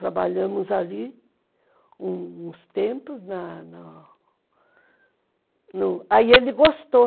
Trabalhamos ali uns tempos, na na no, aí ele gostou.